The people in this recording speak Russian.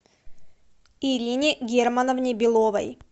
ирине германовне беловой